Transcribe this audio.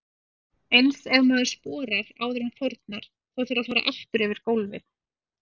Eins ef maður sporar áður en þornar, þá þarf að fara aftur yfir gólfið.